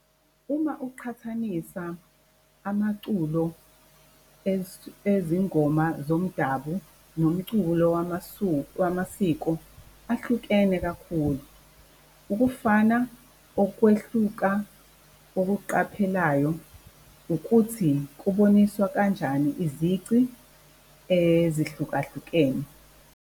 Uma uqhathanisa amaculo ezingoma zomdabu nomculo wamasiko ahlukene kakhulu. Ukufana okwehluka ukuqhaphelayo ukuthi kuboniswa kanjani izici ezihlukahlukene.